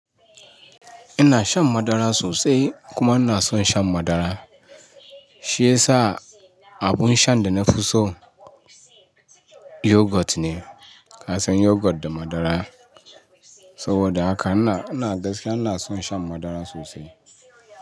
Ina shan madara sosai kuma ina son shan madara. Shi yasa abun shan da na fi so yoghurt ne. Ka san yoghurt da madara. Saboda haka ina, ina gaskiya ina son shan madara sosai.